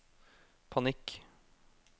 panikk